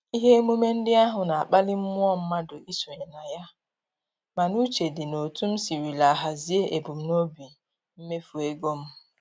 Ihe emume ndị ahụ na-akpali mmụọ mmadụ isonye na ya, mana uche dị n'otu m sirila hazie ebumnobi mmefu ego m